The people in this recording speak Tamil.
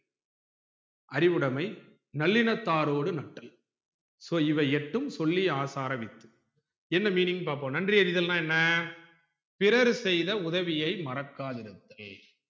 அறிவுடைமை நல்லினத்தாரோடு நட்டல் so இவை எட்டும் சொல்லிய ஆசார வித்து என்ன meaning னு பாப்போம் நன்றி அறிதல்னா என்ன பிறர் செய்த உதவியை மரக்காயிருத்தல்